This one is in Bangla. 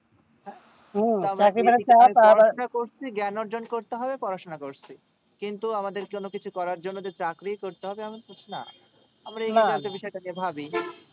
জ্ঞান অর্জন করতে হবে পড়াশোনা করছি কিন্তু আমাদের কোনো কিছু করার জন্য তো চাকরি করতে হবে তেমন কিছু না